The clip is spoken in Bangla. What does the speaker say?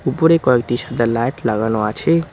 উপরে কয়েকটি সাদা লাইট লাগানো আছে।